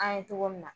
An ye togo min na